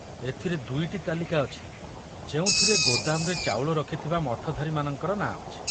ଏଥିରେ ଦୁଇଟି ତାଲିକା ଅଛି ଯେଉଁଥିରେ ଗୋଦାମରେ ଚାଉଳ ରଖିଥିବା ମଠଧାରୀମାନଙ୍କର ନାଁ ଅଛି।